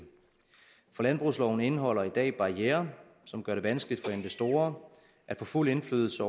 for landbrugsloven indeholder i dag barrierer som gør det vanskeligt for investorer at få fuld indflydelse